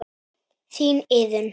Þín Iðunn.